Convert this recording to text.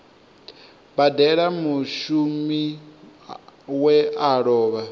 badela mushumi we a lova